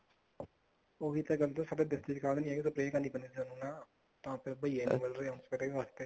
ਉਹੀ ਤਾਂ ਹੈ ਸਾਡੇ ਵਿੱਚ ਚ ਖਾਲ ਨੀ ਹੈਗੀ spray ਕਰਨੀ ਪੈਣੀ ਸਾਨੂੰ ਨਾ ਤਾਂ ਹੁਣ ਬਈਏ ਨੀ ਮਿਲ ਰਹੇ spray ਵਾਸਤੇ